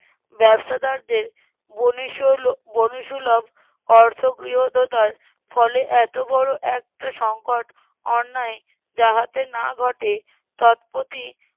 ব্যবসাদারদের বনেসুলভ বনিকসুলভ অর্থগ্রিহীতদার ফলে এত বড় একটা সংকট অন্যায় যাহাতে না ঘটে তৎপতি